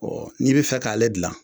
n'i bɛ fɛ k'ale gilan